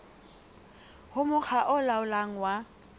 ho mokga o laolang wa